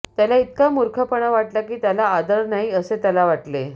त्याला इतका मूर्खपणा वाटला की त्याला आदर नाही असे त्याला वाटले